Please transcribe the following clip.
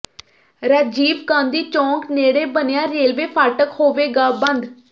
ਰਾਜੀਵ ਗਾਂਧੀ ਚੌਂਕ ਨੇੜੇ ਬਣਿਆ ਰੇਲਵੇ ਫਾਟਕ ਹੋਵੇਗਾ ਬੰਦ